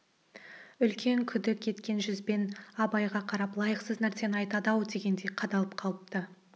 үлкен күдік еткен жүзбен абайға қарап лайықсыз нәрсені айтады-ау дегендей қадалып қалыпты